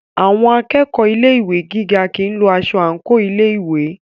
Àwọn akẹ́kọ̀ọ́ Ilé ìwé gíga kìí lo aṣọ àńkò ilé ìwé.